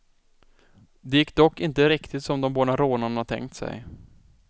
Det gick dock inte riktigt som de båda rånarna tänkt sig.